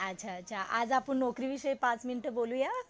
अच्छा अच्छा. आज आपण नोकरी विषयी पाच मिनटं बोलूया.